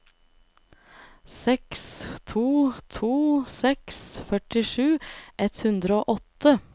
seks to to seks førtisju ett hundre og åtte